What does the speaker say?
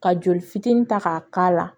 Ka joli fitinin ta ka k'a la